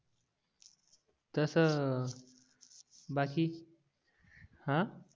तस बाकी हां